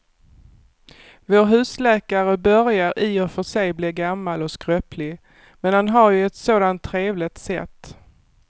Vår husläkare börjar i och för sig bli gammal och skröplig, men han har ju ett sådant trevligt sätt!